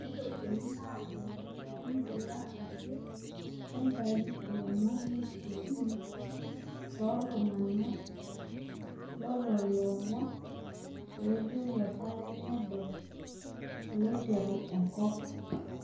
neitokini ajo igila ake aitau ilomon lenkirikino tolntung'ana lolomon loyieu apa nedol oloiteru enkop